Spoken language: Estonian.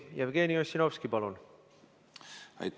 Jevgeni Ossinovski, palun!